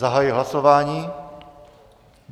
Zahajuji hlasování.